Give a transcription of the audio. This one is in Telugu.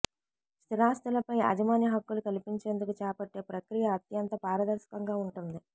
స్థిరాస్తులపై యాజమాన్య హక్కులు కల్పించేందుకు చేపట్టే ప్రక్రియ అత్యంత పారదర్శకంగా ఉంటుంది